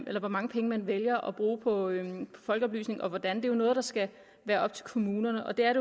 at hvor mange penge man vælger at bruge på folkeoplysningen og hvordan er noget der skal være op til kommunerne og det er